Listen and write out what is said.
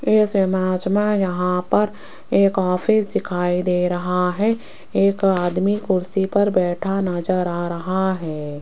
इस इमेज में यहां पर एक ऑफिस दिखाई दे रहा है एक आदमी कुर्सी पर बैठा नजर आ रहा है।